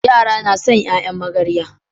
Yara na San yayan magarya